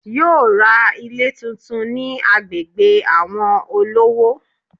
Yóò ra Ilé tuntun ni agbègbè àwon olówó